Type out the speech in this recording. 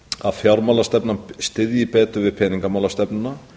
að fjármálastefnan styðji betur við peningamálastefnuna